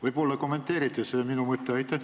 Võib-olla kommenteerite seda minu mõtet?